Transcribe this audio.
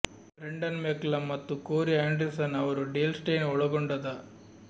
Brendan McCullum ಮತ್ತು Corey Anderson ಅವರು Dale Steyn ಒಳಗೊಂಡ ದ